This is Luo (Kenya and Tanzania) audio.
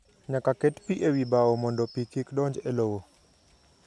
Nyaka ket pi e wi bao mondo pi kik donj e lowo.